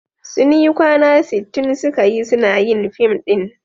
Sun yi kwana sittin suka yi suna yin fim ɗin.